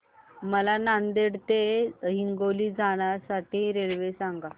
मला नांदेड ते हिंगोली जाण्या साठी रेल्वे सांगा